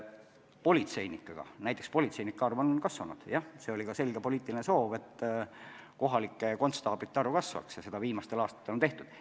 Ka näiteks politseinike arv on kasvanud – seegi oli selge poliitiline soov, et kohalike konstaablite arv kasvaks, ja viimastel aastatel seda ongi tehtud.